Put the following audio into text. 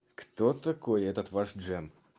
кто такой этот ваш джем